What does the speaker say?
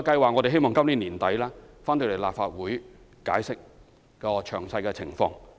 我們希望在今年年底向立法會解釋活化工廈計劃的詳細情況。